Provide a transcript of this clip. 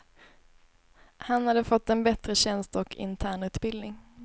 Han hade fått en bättre tjänst och internutbildning.